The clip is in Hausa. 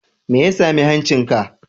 Me ya sami hancinka?